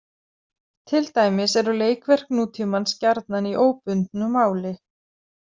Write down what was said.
Til dæmis eru leikverk nútímans gjarnan í óbundnu máli.